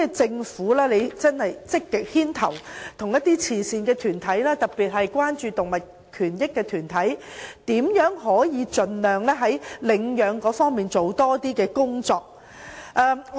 政府會否積極牽頭，與慈善團體，特別是關注動物權益的團體研究，如何在領養方面多做工夫。